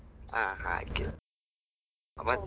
ಹಾ ಹಾಗೆ, ಮತ್ತೆ.